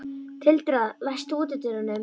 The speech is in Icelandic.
Tildra, læstu útidyrunum.